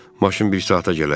Maşın bir saata gələr.